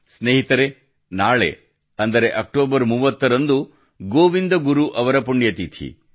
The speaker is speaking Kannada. ಸ್ನೇಹಿತರೇ ನಾಳೆ ಅಂದರೆ ಅಕ್ಟೋಬರ್ 30 ರಂದು ಗೋವಿಂದ ಗುರು ಅವರ ಪುಣ್ಯತಿಥಿ